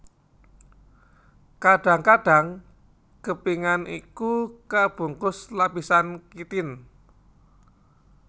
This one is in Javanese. Kadang kadang kepingan iku kabungkus lapisan kitin